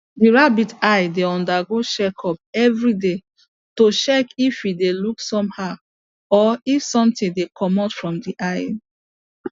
the rabbits eyes dey undergo check up every day to check if e dey look somehow or if something dey commot from the eye